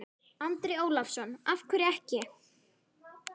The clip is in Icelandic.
Andri Ólafsson: Af hverju ekki?